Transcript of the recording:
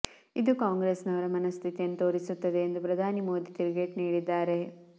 ಇದು ಕಾಂಗ್ರೆಸ್ನವರ ಮನಸ್ಥಿತಿಯನ್ನು ತೋರಿಸುತ್ತದೆ ಎಂದು ಪ್ರಧಾನಿ ಮೋದಿ ತಿರುಗೇಟು ನೀಡಿದ್ದಾರೆ